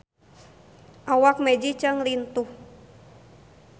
Awak Maggie Cheung lintuh